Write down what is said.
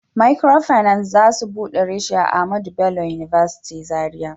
Microfinance za su bude reshi a Ahmadu Bello University zarai